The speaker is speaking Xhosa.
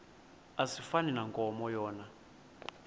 asifani nankomo yona